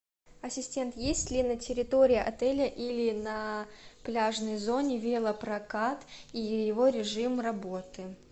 ассистент есть ли на территории отеля или на пляжной зоне велопрокат и его режим работы